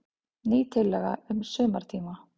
Ný tillaga um sumartíma.